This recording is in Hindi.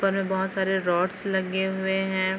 ऊपर में बहुत सारे रौडस लगे हुए हैं।